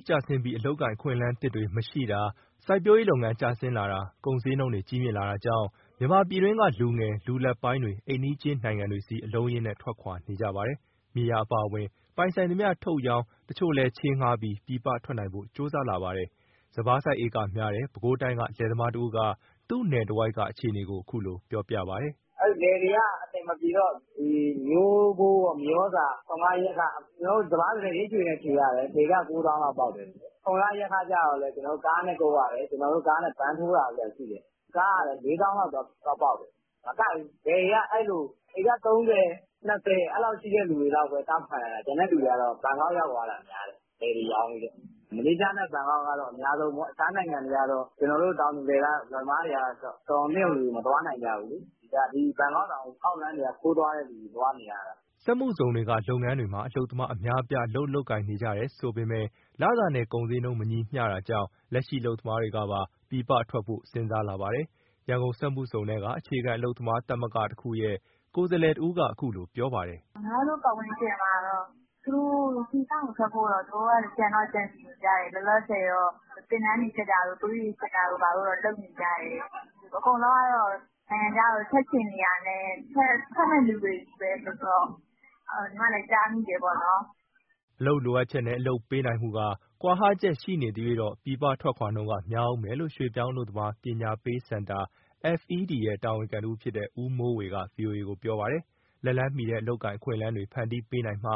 းကျဆင်းပြီး အလုပ်အကိုင် အခွင့်အလမ်းသစ်တွေ မရှိတာ၊ စိုက်ပျိုးရေးလုပ်ငန်း ကျဆင်းလာတာ၊ ကုန်ဈေးနှုန်းတွေ ကြီးမြင့်လာတာကြောင့် မြန်မာပြည်တွင်းက လူငယ် လူလတ်ပိုင်းတွေ အိမ်နီးချင်းနိုင်ငံတွေဆီ အလုံးအရင်းနဲ့ ထွက်ခွာနေကြပါတယ်။ မြေယာအပါအဝင် ပိုင်ဆိုင်သမျှ ထုတ်ရောင်း၊ တချို့ကလည်း ချေးငှားပြီး ပြည်ပထွက်နိုင်ဖို့ ကြိုးစားလာကြပါတယ်။ စပါးစိုက် ဧကများတဲ့ ပဲခူးတိုင်းက လယ်သမားတဦးက သူ့နယ်တဝိုက်က အခြေအနေကို အခုလိုပြောပြပါတယ်။ " လယ်တွေက အဆင်မပြေတော့ ထွန်ခယက်ခတွေနဲ့ မျိုးဖိုး၊ မြေဩဇာ၊ ထွန်ခယက်ခ။ စပါးဆိုရင် ရိတ်ခြွေနဲ့ခြွေရတယ် တဧက၉သောင်းလောက် ပေါက်တယ်၊ ထွန်ခယက်ခကြတော့ ကားနဲ့ကုပ်ရတယ် ဗန်းထိုးတာတို့ဘာတို့။ ကားကလည်း ၄ သောင်းလောက်ပေါက်တယ်။ မကိုက်ဘူး လယ်တွေကအဲလို ဧက ၃၀၊ ၂၀ အဲလောက်ရှိတဲ့ သူတွေလောက်ပဲ တောင့်ခံနိုင်တာ။ ကျန်တဲ့သူတွေက ဘန်ကောက်ရောက်သွားတာများတယ် လယ်တွေရောင်းပြီးတော့။ မလေးရှားနဲ့ ဘန်ကောက်ကတော့ အများဆုံးပေါ့၊ အခြားနိုင်ငံတွေကတော့ ကျနော်တို့ တောင်သူလယ်သမားတွေက တော်ရုံသင့်ရုံလူတွေ မသွားနိုင်ကြဘူး။ ဘန်ကောက်တောင် အောက်လမ်းက ခိုးသွားနေရတာ။" စက်မှုဇုံတွေက လုပ်ငန်းတွေမှာ အလုပ်သမား အများအပြား အလုပ်လုပ်ကိုင်နေကြတယ်ဆိုပေမဲ့ လစာနဲ့ ကုန်ဈေးနှုန်း မညီမျှတာကြောင့် လက်ရှိအလုပ်သမားတွေကပါ ပြည်ပထွက်ဖို့ စဉ်းစားလာပါတယ်။ ရန်ကုန်စက်မှုဇုံက အခြေခံ အလုပ်သမားသဂ္ဂတခုရဲ့ ကိုယ်စားလှယ်တဦးက အခုလိုပြောပါတယ်။ " ညီမတို့ ပတ်ဝန်းကျင်မှာတော့ ပြည်ပကိုထွက်ဖို့ သူတို့ကြံတော့ ကြံစည်နေကြတယ်။ လောလောဆယ်တော့ သင်တန်းတွေတက်တာတို့ သွေးတွေစစ်တာတို့တော့ လုပ်နေကြတယ်။ အကုန်လုံးကတော့ နိုင်ငံခြားကို ထွက်ချင်နေတာနဲ့၊ ထွက်မယ့်သူတွေချည်းပဲဆိုတော့ ညီမလည်း ကြားမိတယ်ပေါ့နော်။" အလုပ်လိုအပ်ချက်နဲ့ အလုပ်ပေးနိုင်မှုက ကွာဟချက်ရှိနေသရွှေ့ ပြည်ပထွက်ခွာနှုန်းက များဦးမယ်လို့ ရွှေ့ပြောင်းအလုပ်သမား ပညာပေးစင်တာ FED ရဲ့ တာဝန်ခံတဦးဖြစ်တဲ့ ဦးမိုးဝေက ဗွီအိုအေကို ပြောပါတယ်။ လက်လှမ်းမီတဲ့ အလုပ်အကိုင်အခွင့်အလမ်းတွေ ဖန်တီးပေးနိုင်မှ